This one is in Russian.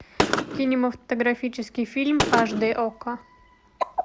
кинематографический фильм аш дэ окко